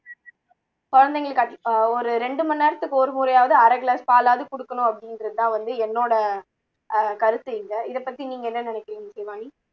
குழந்தைங்களுக்கு அ ஒரு ரெண்டு மணி நேரத்துக்கு ஒரு முறையாவது அரை glass பாலாவது கொடுக்கணும் அப்படின்றது தான் வந்து என்னோட அ கருத்து இங்க இதை பத்தி நீங்க என்ன நினைக்குறீங்க இசைவாணி